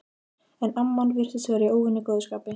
En amman virtist vera í óvenju góðu skapi.